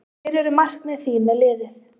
Hver eru markmið þín með liðið?